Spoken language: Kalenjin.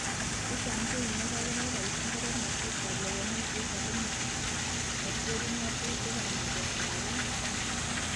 Chechang cheimike koboiboitchin torornatet ab lewenisiet ako matkerib ngatutik ak maket ab bik.